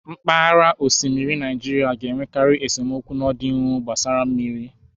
Mpaghara osimiri na Naijiria ga-enwekarị esemokwu n'ọdịnihu gbasara mmiri